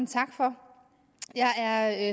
tak for jeg er